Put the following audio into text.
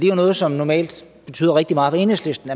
jo noget som normalt betyder rigtig meget for enhedslisten